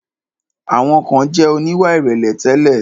Àwọn kan jẹ̀ oníwà ìrẹ̀lẹ̀ tẹ́lẹ̀.